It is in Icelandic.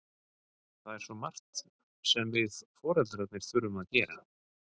Það er svo margt sem við foreldrarnir þurfum að gera.